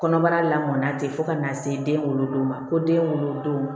Kɔnɔbara la mɔnna ten fo ka na se den wolo don ma ko den wolo don